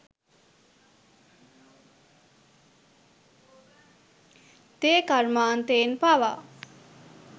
තේ කර්මාන්තයෙන් පවා